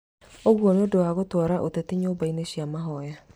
Ũguo nĩũndũ wa gũtwara ũteti nyũmbainĩ cia mahoya